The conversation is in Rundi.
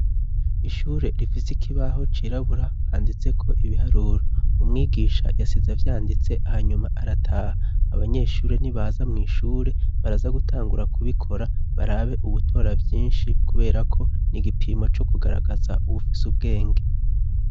Ishure rifise ikibaho cirabura handitseko ibiharuro. Umwigisha yasize avyanditse hanyuma arataha abanyeshure nibaza mw'ishure baraza gutangura kubikora barabe uwutora vyinshi kubera ko ni igipimo co kugaragaza uwufise ubwenge.